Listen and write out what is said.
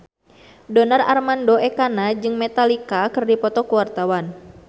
Donar Armando Ekana jeung Metallica keur dipoto ku wartawan